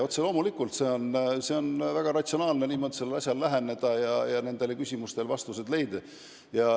Otse loomulikult on väga ratsionaalne niimoodi sellele asjale läheneda ja nendele küsimustele vastused leida.